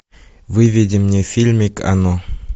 выведи мне фильмик оно